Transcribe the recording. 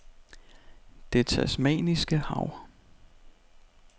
Det Tasmaniske Hav